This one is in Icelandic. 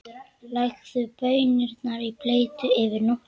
Leggið baunirnar í bleyti yfir nótt.